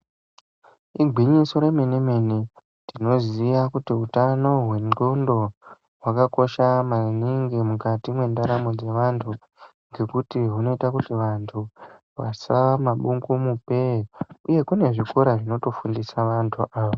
Igwiso remene mene tinoziya kuti utano wendxondo hwakakosha maningi mukati mwendaramo dzevantu ngekuti zvinoita kuti vantu vasaa madungumupee uye kune zvikora zvinotofundisa vantu ava.